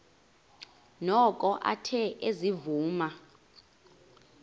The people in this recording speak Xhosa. noko athe ezivuma